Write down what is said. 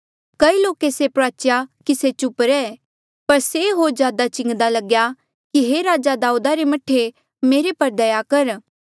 कई लोके से प्रुआचेया कि से चुप चाप रह पर से होर ज्यादा चिंगदा लग्या कि हे राजा दाऊदा रे मह्ठे मेरे पर दया कर